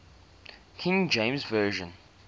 king james version